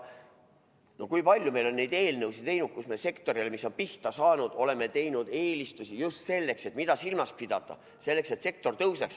Kui palju meil on neid eelnõusid tehtud, kus me sektorile, mis pihta saanud, oleme teinud eelistusi just selleks, et sektor jalule tõuseks.